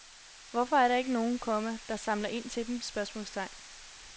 Hvorfor er der ikke nogen, komma som samler ind til dem? spørgsmålstegn